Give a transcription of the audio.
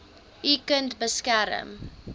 u kind beskerm